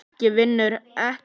Ekki vinnu heldur.